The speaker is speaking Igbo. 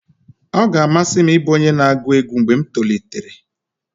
ọ ga-amasị m ịbụ onye na-agụ egwu mgbe m tolitere